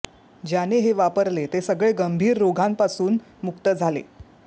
ज्याने हे वापरले ते सगळे गंभीर रोगांपासून मुक्त झाले